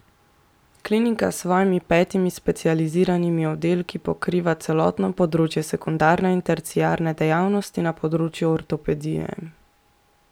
Klinika s svojimi petimi specializiranimi oddelki pokriva celotno področje sekundarne in terciarne dejavnosti na področju ortopedije.